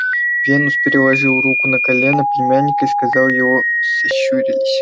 венус переложил руку на колено племянника и глаза его сощурились